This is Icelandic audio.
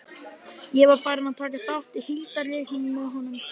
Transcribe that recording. Ég var farinn að taka þátt í hildarleiknum með honum.